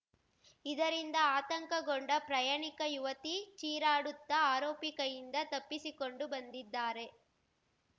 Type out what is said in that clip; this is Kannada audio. ಇದರಿಂದ ಆತಂಕಗೊಂಡ ಪ್ರಯಾಣಿಕ ಯುವತಿ ಚೀರಾಡುತ್ತಾ ಆರೋಪಿ ಕೈಯಿಂದ ತಪ್ಪಿಸಿಕೊಂಡು ಬಂದಿದ್ದಾರೆ